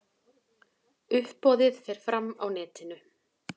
Uppboðið fer fram á netinu.